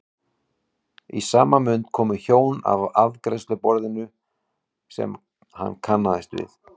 Og í sama mund komu hjón að afgreiðsluborðinu sem hann kannaðist við.